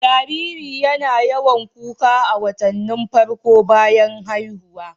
Jariri YAna yawan kuka a watannin farko bayan haihuwa